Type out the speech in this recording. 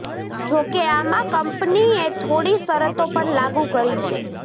જોકે આમાં કંપનીએ થોડી શરતો પણ લાગુ કરી છે